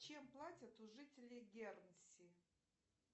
чем платят у жителей гернси